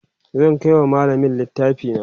zan Kai wa mallamin littafi na